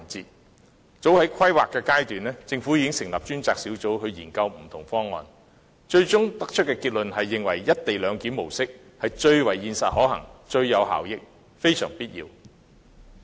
早於高鐵的規劃階段，政府已經成立專責小組研究不同方案，最終的結論認為"一地兩檢"模式最為現實可行、最有效益，非常必要。